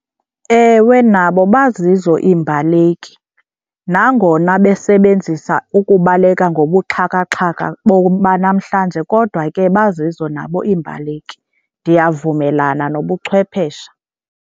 Ewe, nabo bazizo iimbaleki. Nangona besebenzisa ukubaleka ngobuxhakaxhaka banamhlanje kodwa ke bazizo nabo iimbaleki, ndiyavumelana nobuchwepheshe.